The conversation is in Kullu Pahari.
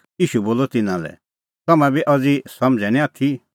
ईशू बोलअ तिन्नां लै तम्हैं बी अज़ी समझ़ै निं आथी